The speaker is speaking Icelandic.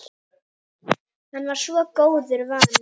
Hann var svo góðu vanur.